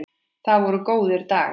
Það voru góðir dagar.